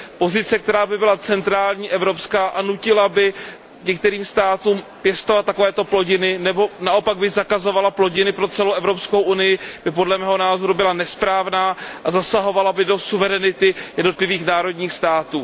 Pozice, která by byla centrální, evropská a která by nutila některé státy pěstovat takovéto plodiny nebo naopak by zakazovala plodiny pro celou Evropskou unii by, podle mého názoru, byla nesprávná a zasahovala by do suverenity jednotlivých národních států.